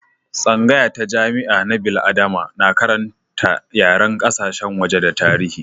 Tsangaya ta jami'a na bil'adama na karanta yaren kasashen waje da tarihi.